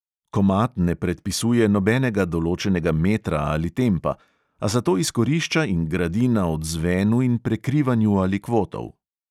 Komad ne predpisuje nobenega določenega metra ali tempa, a zato izkorišča in gradi na odzvenu in prekrivanju alikvotov.